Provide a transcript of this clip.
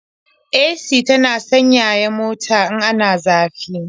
AC tana sanyaya mota in ana zafi.